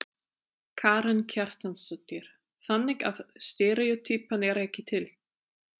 Karen Kjartansdóttir: Þannig að steríótýpan er ekki til?